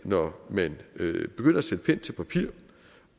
når man begynder at sætte pen til papir